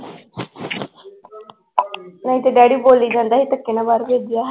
ਕਿਉਂਕਿ daddy ਬੋਲੀ ਜਾਂਦਾ ਸੀ ਧੱਕੇ ਨਾਲ ਬਾਹਰ ਭੇਜਿਆ।